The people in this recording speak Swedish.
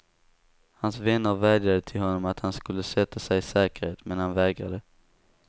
Hans vänner vädjade till honom att han skulle sätta sig i säkerhet, men han vägrade.